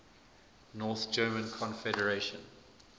north german confederation